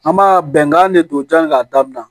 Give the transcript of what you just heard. An b'a bɛnkan de don jan k'a daminɛ